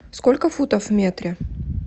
сколько футов в метре